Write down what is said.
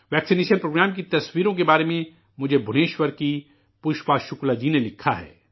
ٹیکہ کاری پروگرام کی تصویروں کے بارے میں مجھے بھوونیشور کی پشپا شکلا جی نے لکھا ہے